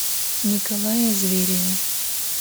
николае звереве